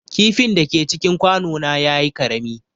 Kifin da ke cikin kwano na ya yi ƙarami.